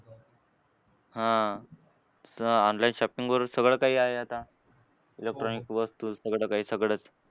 हां. आता online shopping वरून सगळं काही आहे आता. Electronic वस्तू सगळं काही सगळंच.